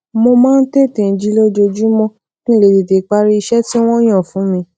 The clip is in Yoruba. mo máa ń tètè jí lójoojúmó kí n lè tètè parí iṣé tí wón yàn fún mi